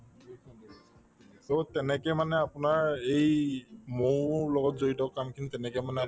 so, তেনেকে মানে আপোনাৰ এই মৌৰ লগত জড়িত কাম খিনি তেনেকে মানে